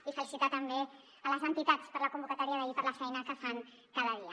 i felicitar també les entitats per la convocatòria d’ahir per la feina que fan cada dia